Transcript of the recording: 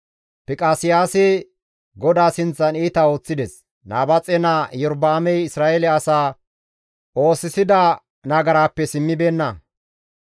Fiqaseyaasi GODAA sinththan iita ooththides; Nabaaxe naa Iyorba7aamey Isra7eele asaa oosisida nagaraappe simmibeenna.